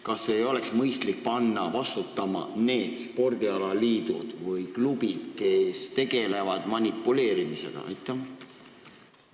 Kas ei oleks mõistlik panna vastutama need spordialaliidud või klubid, kes manipuleerimisega tegelevad?